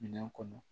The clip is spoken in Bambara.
Minɛn kɔnɔ